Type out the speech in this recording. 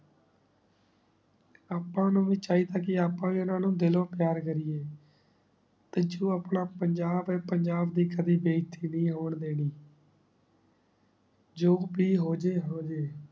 ਆਪਾਂ ਨੂ ਚਾਹੀ ਦਾ ਕੇ ਆਪਾਂ ਵੀ ਓਨਾ ਨੂ ਦਿਲੋਂ ਪਯਾਰ ਕਰਿਯੇ ਪਿਛੋਂ ਆਪਣਾ ਪੰਜਾਬ ਆਯ ਪੰਜਾਬ ਦੀ ਕਦੀ ਬਯ੍ਸਤੀ ਨਾਈ ਹੋਣ ਦੇਨਿ ਜੋ ਬੀ ਹੋ ਜੇ ਹੋ ਜੇ